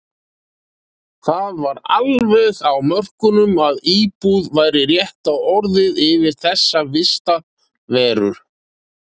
Það var alveg á mörkunum að íbúð væri rétta orðið yfir þessa vistarveru.